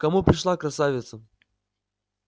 к кому пришла красавица